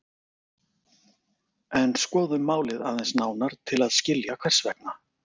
En skoðum málið aðeins nánar til að skilja hvers vegna.